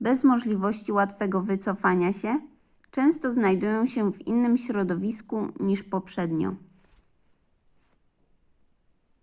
bez możliwości łatwego wycofania się często znajdują się w innym środowisku niż poprzednio